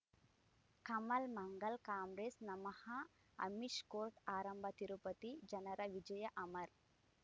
ಕಮಲ್ ಮಂಗಳ್ ಕಾಂಗ್ರೆಸ್ ನಮಃ ಅಮಿಷ್ ಕೋರ್ಟ್ ಆರಂಭ ತಿರುಪತಿ ಜನರ ವಿಜಯ ಅಮರ್